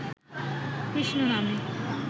কৃষ্ণনামে